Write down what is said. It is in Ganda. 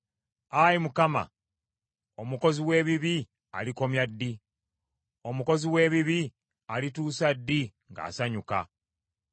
Ayi Mukama , omukozi w’ebibi alikomya ddi? Omukozi w’ebibi alituusa ddi ng’asanyuka?